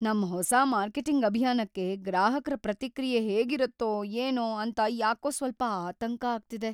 ನಮ್ ಹೊಸ ಮಾರ್ಕೆಟಿಂಗ್ ಅಭಿಯಾನಕ್ಕೆ ಗ್ರಾಹಕ್ರ ಪ್ರತಿಕ್ರಿಯೆ ಹೇಗಿರುತ್ತೋ ಏನೋ ಅಂತ ಯಾಕೋ ಸ್ವಲ್ಪ ಆತಂಕ ಆಗ್ತಿದೆ.